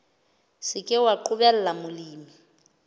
se ke wa qobella molemi